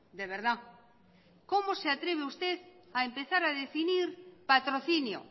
de verdad cómo se atreve usted a empezar a definir patrocino